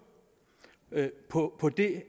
på